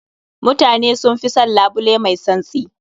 Mutane sun fi son labule mai tsantsi.